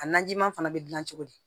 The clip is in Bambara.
A najima fana bɛ dilan cogo di